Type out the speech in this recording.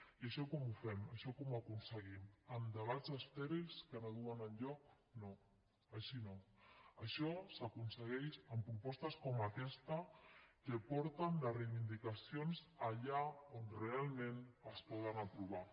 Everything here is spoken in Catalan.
i això com ho fem això com ho aconseguim amb debats estèrils que no duen enlloc no així no això s’aconsegueix amb propostes com aquesta que porten les reivindicacions allà on realment es poden aprovar